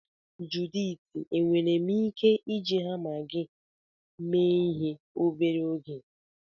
Juditi enwere m ike iji hama gị mee ihe obere oge?